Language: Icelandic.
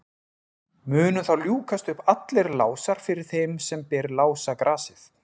munu þá ljúkast upp allir lásar fyrir þeim sem ber lásagrasið